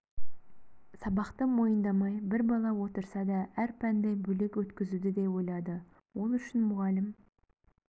сабақты мойындамай бір бала отырса да әр пәнді бөлек өткізуді де ойлады ол үшін мұғалім